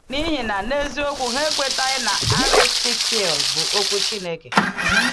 N’ihi na, n’eziokwu, ha ekwetaghị na Àrtíkl bụ Okwu Chineke.